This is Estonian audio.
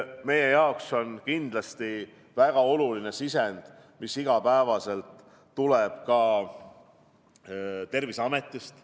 Meie jaoks on kindlasti väga oluline ka sisend, mis tuleb igapäevaselt Terviseametist.